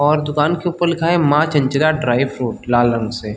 और दुकान के ऊपर लिखा है माँ चंचला ड्राई फ्रूट लाल रंग से--